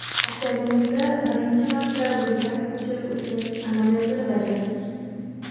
Markazimizda birinchi marta buyrak ko‘chirib o‘tkazish amaliyotini bajardik.